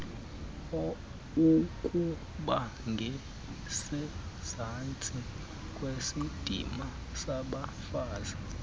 ukubangasezantsi kwesidima sabafazi